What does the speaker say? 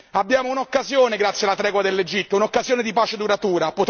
Abbiamo un'occasione grazie alla tregua dell'Egitto, un'occasione di pace duratura.